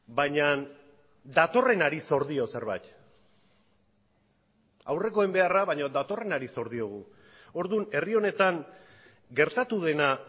baina datorrenari zor dio zerbait aurrekoen beharra baina datorrenari zor diogu orduan herri honetan gertatu dena